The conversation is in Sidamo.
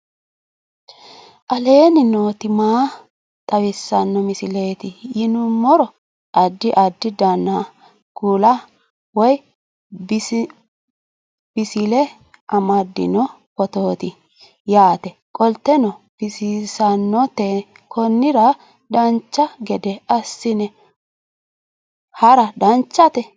aleenni nooti maa xawisanno misileeti yinummoro addi addi dananna kuula woy biinsille amaddino footooti yaate qoltenno baxissannote konnira dancha gede assine haara danchate